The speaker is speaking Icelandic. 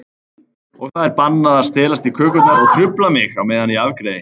Og það er bannað að stelast í kökurnar og trufla mig á meðan ég afgreiði.